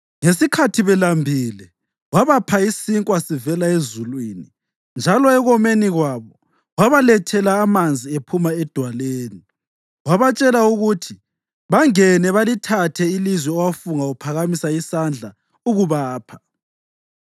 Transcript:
Ngesikhathi belambile wabapha isinkwa sivela ezulwini njalo ekomeni kwabo wabalethela amanzi ephuma edwaleni; wabatshela ukuthi bangene balithathe ilizwe owafunga uphakamisa isandla ukubapha.